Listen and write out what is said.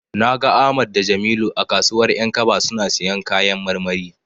Na ga Ahmad da Jamilu a kasuwar 'yankaba suna siyan kayan marmari.